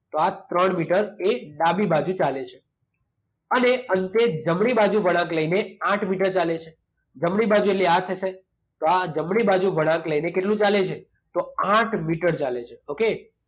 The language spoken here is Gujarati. તો આ ત્રણ મીટર એ ડાબી બાઉ ચાલે છે. અને અંતે જમણી બાજુ વળાંક લઈને આઠ મીટર ચાલે છે. જમણી બાજુ એટલે આ થશે. તો આ જમણી બાજુ વળાંક લઈને કેટલું ચાલે છે? તો આઠ મીટર ચાલે છે. ઓકે?